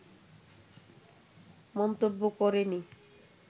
মন্তব্য করেনি